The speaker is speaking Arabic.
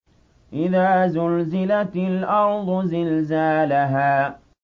إِذَا زُلْزِلَتِ الْأَرْضُ زِلْزَالَهَا